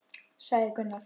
sagði Gunnar.